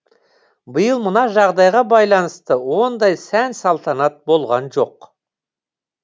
биыл мына жағдайға байланысты ондай сән салтанат болған жоқ